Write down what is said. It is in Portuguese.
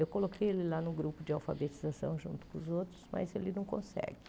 Eu coloquei ele lá no grupo de alfabetização junto com os outros, mas ele não consegue.